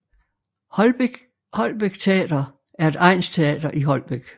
Holbæk Teater er et egnsteater i Holbæk